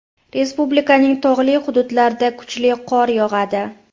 Respublikaning tog‘li hududlarida kuchli qor yog‘adi.